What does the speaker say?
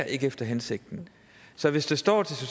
efter hensigten så hvis det står